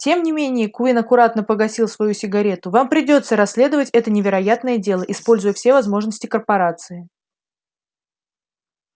тем не менее куинн аккуратно погасил свою сигарету вам придётся расследовать это невероятное дело используя все возможности корпорации